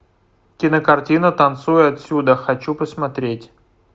кинокартина танцуй отсюда хочу посмотреть